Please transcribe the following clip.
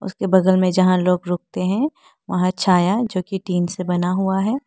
उसके के बगल में जहां लोग रुकते हैं वहां छाया जो की टीन से बना हुआ है।